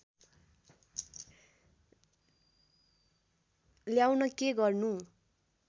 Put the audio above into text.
ल्याउन के गर्नु